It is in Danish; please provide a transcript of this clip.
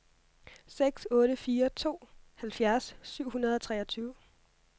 seks otte fire to halvfjerds syv hundrede og treogtyve